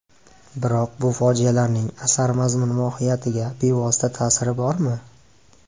Biroq bu fojialarning asar mazmun-mohiyatiga bevosita ta’siri bormi?